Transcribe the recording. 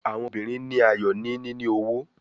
Awọn obirin ri ayọ ni nini owo